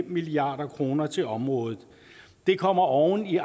milliard kroner til området det kommer oven i